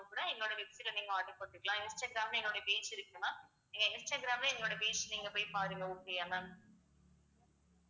கூட என்னோட website ல நீங்க order போட்டுக்கலாம் இன்ஸ்டாகிராம்ல என்னோட page இருக்கு ma'am நீங்க இன்ஸ்டாகிராம்ல எங்களோட page நீங்க போய் பாருங்க okay யா ma'am